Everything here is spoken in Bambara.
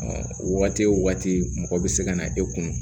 waati o waati mɔgɔ bɛ se ka na e kun